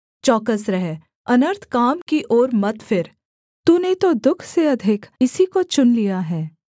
चौकस रह अनर्थ काम की ओर मत फिर तूने तो दुःख से अधिक इसी को चुन लिया है